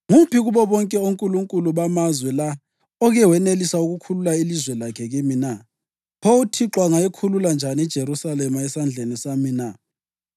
Nguphi kubo bonke onkulunkulu bamazwe la oke wenelisa ukukhulula ilizwe lakhe kimi na? Pho uThixo angayikhulula njani iJerusalema esandleni sami na?”